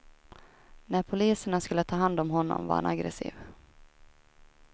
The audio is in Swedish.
När poliserna skulle ta hand om honom, var han aggressiv.